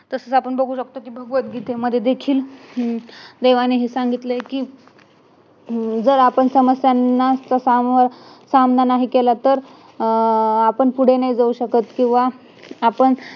तसेच आपण बघू शकतो कि भगवद गीतेमध्ये देखील देवाने हे सांगितलंय कि अं जर आपण समस्यांचा सामना नाही केला तर आपण पुढं नाही जाऊ शकत किंवा आपण